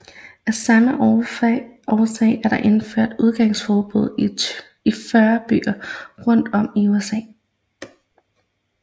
Af samme årsager er der indført udgangsforbud i 40 byer rundt om i USA